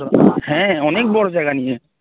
বড় হ্যাঁ অনেক বড় জায়গা নিয়ে